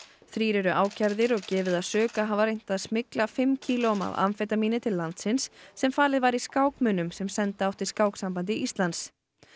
þrír eru ákærðir og gefið að sök að hafa reynt að smygla fimm kílóum af amfetamíni til landsins sem falið var í sem senda átti Skáksambandi Íslands